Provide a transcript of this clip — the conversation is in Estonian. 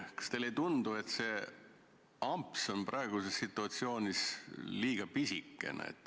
Kas teile ei tundu, et see amps on praeguses situatsioonis liiga pisike.